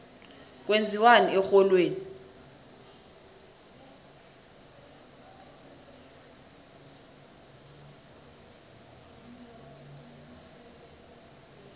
kwenziwani erholweni